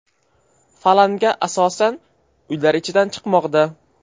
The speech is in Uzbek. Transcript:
Falanga asosan uylar ichidan chiqmoqda.